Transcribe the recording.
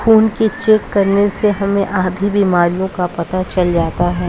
खून के चेक करने से हमे आधी बीमारियों का पता चल जाता है